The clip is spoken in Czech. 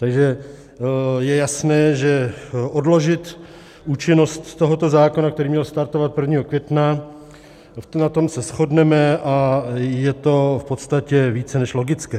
Takže je jasné, že odložit účinnost tohoto zákona, který měl startovat 1. května, na tom se shodneme a je to v podstatě více než logické.